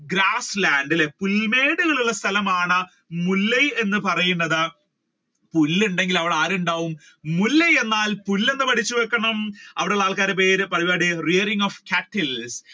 Grassland അല്ലെ പുൽമേടുകൾ ഉള്ള സ്ഥലമാണ് മുല്ലയ് എന്ന് പറയുന്നത് പുല്ല് ഉണ്ടെങ്കിൽ അവിടെ ആർ ഉണ്ടാവും മുല്ലയ് എന്നാൽ പുല്ല് എന്ന് പഠിച്ചു വെക്കണം. അവിടെ ഉള്ള ആൾക്കാരുടെ പേര് rearing of cattles